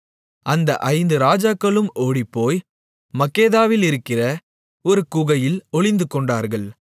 அந்த ஐந்து ராஜாக்களும் ஓடிப்போய் மக்கெதாவிலிருக்கிற ஒரு குகையில் ஒளிந்துகொண்டார்கள்